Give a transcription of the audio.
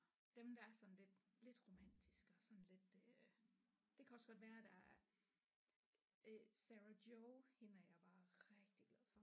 Dem der er sådan lidt lidt romantiske og sådan lidt øh det kan også godt være der er øh Sarah Jio hende er jeg bare rigtig glad for